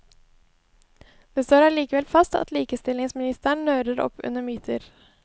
Det står allikevel fast at likestillingsministeren nører opp under myter.